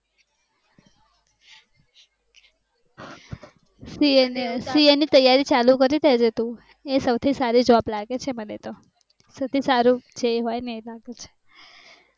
CA ની તૈયારી ચાલુ કરી દેજે તું સૌથી સારી job લાગે છે મને તો સૌથી સારું છે